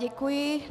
Děkuji.